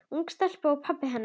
Ung stelpa og pabbi hennar.